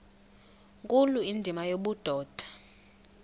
nkulu indima yobudoda